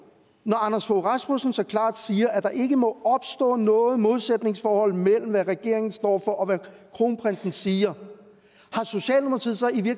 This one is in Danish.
når anders fogh rasmussen så klart siger at der ikke må opstå noget modsætningsforhold mellem hvad regeringen står for og hvad kronprinsen siger